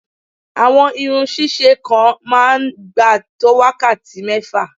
Àwọn irun ṣíṣe kan á máa gbà tó wákàtí mẹ́fà